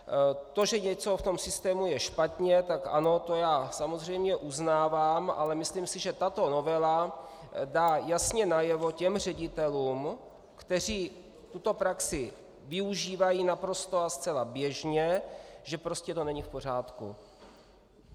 To, že něco v tom systému je špatně, tak ano, to já samozřejmě uznávám, ale myslím si, že tato novela dá jasně najevo těm ředitelům, kteří tuto praxi využívají naprosto a zcela běžně, že prostě to není v pořádku.